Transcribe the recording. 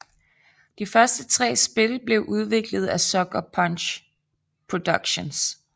De første tre spil blev udviklet af Sucker Punch Productions